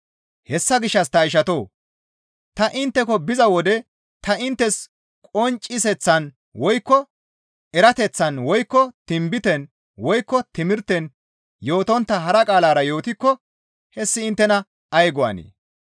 Hessa gishshas ta ishatoo! Ta intteko biza wode ta inttes qoncciseththan woykko erateththan woykko tinbiten, woykko timirten yootontta hara qaalara yootikko hessi inttena ay go7anee?